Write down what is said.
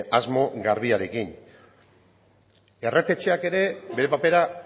asmo garbiarekin errege etxeak ere bere papera